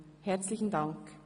Herzlichen Dank.